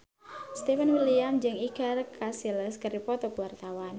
Stefan William jeung Iker Casillas keur dipoto ku wartawan